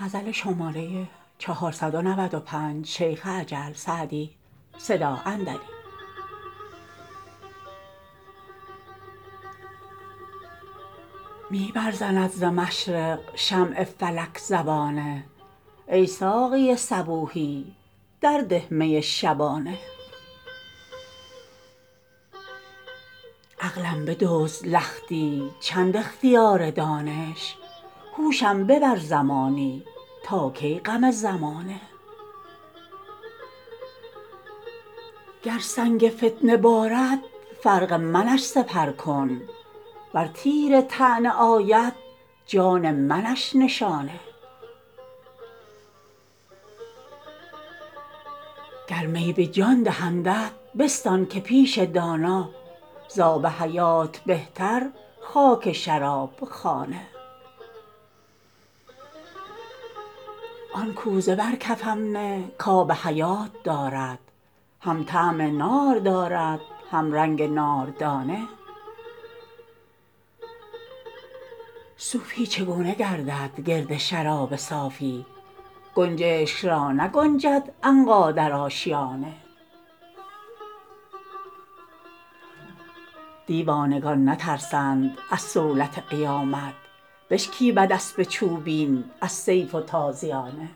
می برزند ز مشرق شمع فلک زبانه ای ساقی صبوحی در ده می شبانه عقلم بدزد لختی چند اختیار دانش هوشم ببر زمانی تا کی غم زمانه گر سنگ فتنه بارد فرق منش سپر کن ور تیر طعنه آید جان منش نشانه گر می به جان دهندت بستان که پیش دانا زآب حیات بهتر خاک شراب خانه آن کوزه بر کفم نه کآب حیات دارد هم طعم نار دارد هم رنگ ناردانه صوفی چگونه گردد گرد شراب صافی گنجشک را نگنجد عنقا در آشیانه دیوانگان نترسند از صولت قیامت بشکیبد اسب چوبین از سیف و تازیانه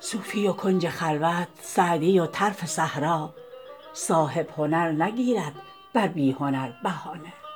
صوفی و کنج خلوت سعدی و طرف صحرا صاحب هنر نگیرد بر بی هنر بهانه